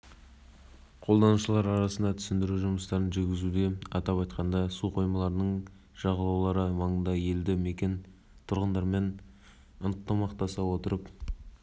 жолдамалар беруге қақылы бұдан бөлек олар келісімшарт міндеттемелерін орындауға да ақша шығарады сондықтан да бұл